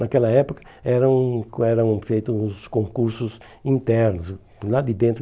Naquela época eram eram feitos os concursos internos, do lado de dentro.